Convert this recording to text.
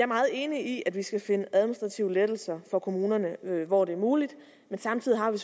meget enig i at vi skal finde administrative lettelser for kommunerne hvor det er muligt men samtidig har vi